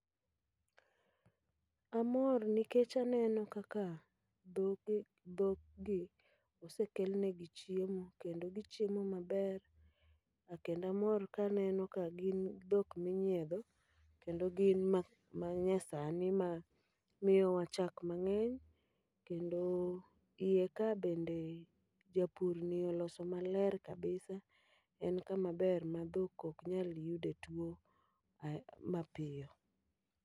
Amor nikech aneno kaka dhoge dhok gi osekelnegi chiemo kendo gichiemo maber. Kendo amor kaneno ka gin dhok minyiedho, kendo gin ma manyasani ma miyowa chak mang'eny. Kendo iye ka bende japur ni oloso maler kabisa. En kama ber ma dhok ok nyal yude tuo a mapiyo.